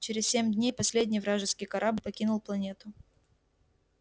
через семь дней последний вражеский корабль покинул планету